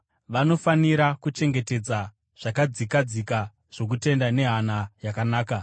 Vanofanira kuchengetedza zvakadzikadzika zvokutenda nehana yakanaka.